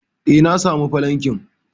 eh, na samu falankin